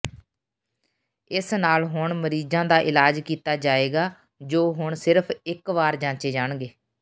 ਇਸ ਨਾਲ ਹੁਣ ਮਰੀਜ਼ਾਂ ਦਾ ਇਲਾਜ ਕੀਤਾ ਜਾਏਗਾ ਜੋ ਹੁਣ ਸਿਰਫ ਇਕ ਵਾਰ ਜਾਂਚੇ ਜਾਣਗੇ